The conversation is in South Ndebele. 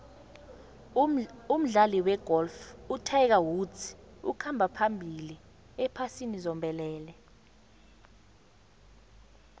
umdlali wegolf utiger woods ukhamba phambili ephasini zombelele